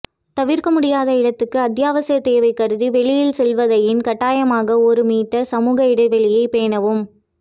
தவிர்க்க முடியாத இடத்து அத்தியாவசிய தேவை கருதி வெளியில் செல்வதாயின் கட்டாயமாக ஒரு மீற்றர் சமூக இடைவெளியைப் பேணவும்